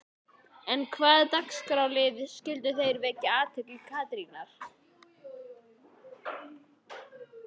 En hvaða dagskrárliðir skyldu vekja athygli Katrínar?